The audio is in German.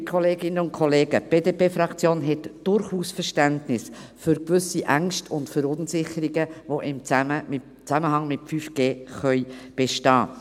Liebe Kolleginnen und Kollegen, die BDP hat durchaus Verständnis für gewisse Ängste und Verunsicherungen, die im Zusammenhang mit 5G bestehen können.